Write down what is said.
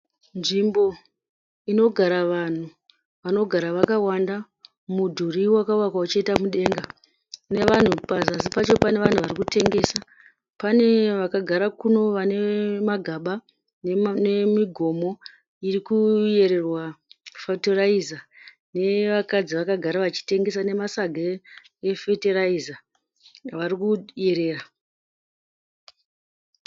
Nzvimbo inogara vanhu vanogara vakawanda mudhuri wakavakwa uchienda mudenga nevanhu pazasi pacho pane vanhu varikutengesa pane vakagara kuno vane magaba nemigomo iri kuyererwa fetiraiza nevakadzi vakagara vachitengesa nemasaga efetiraiza varikuyerera.